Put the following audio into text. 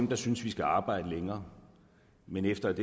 der synes vi skal arbejde længere men efter at